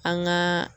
An gaa